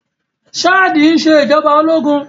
Ṣáàdì ń ṣe ìjọba ológun